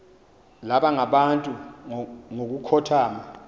baba ngabantu ngokukhothana